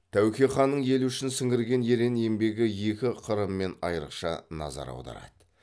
тәуке ханның елі үшін сіңірген ерен еңбегі екі қырымен айрықша назар аударады